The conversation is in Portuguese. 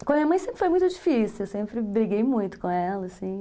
Com a minha mãe sempre foi muito difícil, eu sempre briguei muito com ela, assim